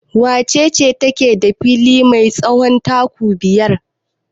Wace ce take da fili mai tsawon kamu biyar?